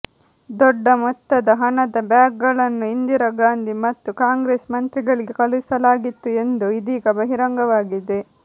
ದೊಡ್ಡ ಮೊತ್ತದ ಹಣದ ಬ್ಯಾಗ್ಗಳನ್ನು ಇಂದಿರಾ ಗಾಂಧಿ ಮತ್ತು ಕಾಂಗ್ರೆಸ್ ಮಂತ್ರಿಗಳಿಗೆ ಕಳುಹಿಸಲಾಗಿತ್ತು ಎಂದು ಇದೀಗ ಬಹಿರಂಗವಾಗಿದೆ